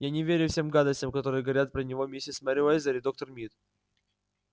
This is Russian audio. я не верю всем гадостям которые говорят про него миссис мерриуэзер и доктор мид